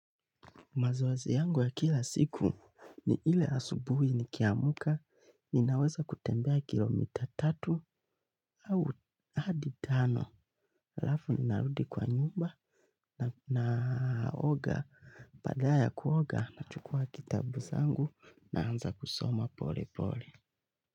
Mazoezi yangu ya kila siku ni ile asubuhi ni kiamuka, ninaweza kutembea kilomita tatu au hadi tano. Lafu ni narudi kwa nyumba na naoga, paada ya ya kuoga, nachukua kitabu zangu naanza kusoma pole pole.